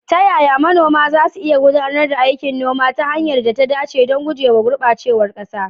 Ta yaya manoma za su iya gudanar da aikin noma ta hanyar da ta dace don guje wa gurɓacewar ƙasa?